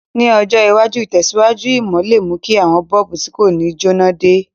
Ní ọjọ̀ iwájú, ìtẹ̀síwájú ìmò le mú ki àwon bulb ti ko ni jẹná de